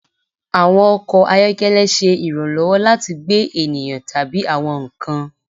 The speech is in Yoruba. Awọn ọkọ ayọkẹlẹ ṣe iranlọwọ lati gbe eniyan tabi awọn nkan